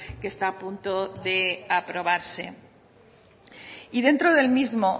que está a punto de aprobarse y dentro del mismo